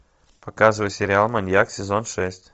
показывай сериал маньяк сезон шесть